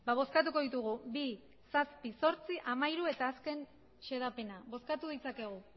bozkatuko ditugu bi zazpi zortzi hamairu eta azken xedapena bozkatu ditzakegu